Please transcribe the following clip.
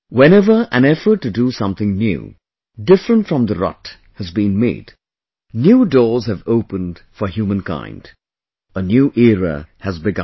Whenever effort to do something new, different from the rut, has been made, new doors have opened for humankind, a new era has begun